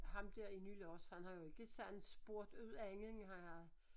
Ham der i Nylars han har jo ikke sådan spurgt ud andet end han har